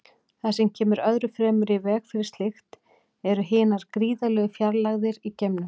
Það sem kemur öðru fremur í veg fyrir slíkt eru hinar gríðarlegu fjarlægðir í geimnum.